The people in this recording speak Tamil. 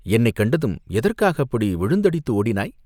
"என்னைக் கண்டதும் எதற்காக அப்படி விழுந்தடித்து ஓடினாய்?